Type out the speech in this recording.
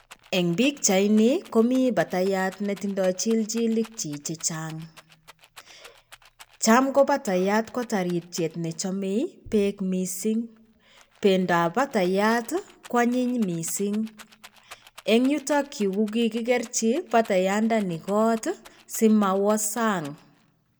En pichaini komii patayat netindo chilchilik chik che chang cham ko patayat ko tarityet nechome peek missing, pendap pataiyat ko anyin missing en yutok yuu ko kikikerchi patayat ndeni kot simowo sang.